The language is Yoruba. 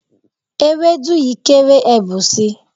Ewédú yìí kéré, ẹ bù si.